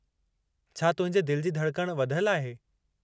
छा तुंहिंजे दिलि जी धड़कणु वधयलु आहे?